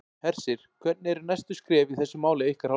Hersir: Hvernig eru næstu skref í þessu máli af ykkar hálfu?